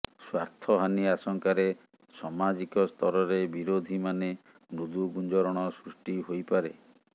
ସ୍ୱାର୍ଥହାନି ଆଶଙ୍କାରେ ସମାଜିକ ସ୍ତରରେ ବିରୋଧୀମାନେ ମୃଦୁ ଗୁଞ୍ଜରଣ ସୃଷ୍ଟି ହୋଇପାରେ